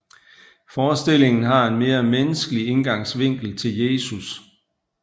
Forestillingen har en mere menneskelig indgangsvinkel til Jesus